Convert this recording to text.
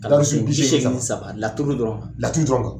Darusu bi seegin nji saba, laturu dɔrɔn, laturu dɔrɔnw!